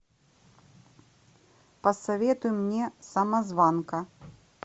посоветуй мне самозванка